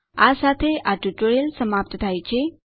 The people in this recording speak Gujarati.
આ સાથે આ ટ્યુટોરીયલ સમાપ્ત થાય છે